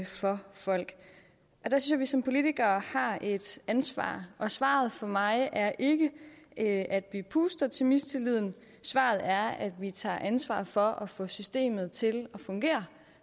for folk der synes som politikere har et ansvar og svaret for mig er ikke at vi puster til mistilliden svaret er at vi tager ansvar for at få systemet til at fungere